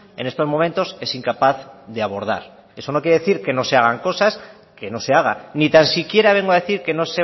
en estos momentos es incapaz de abordar eso no quiere decir que no se hagan cosas que no se haga ni tan siquiera vengo a decir que no